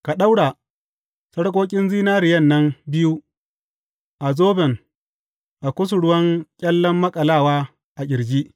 Ka ɗaura sarƙoƙin zinariyan nan biyu a zoban a kusurwan ƙyallen maƙalawa a ƙirji.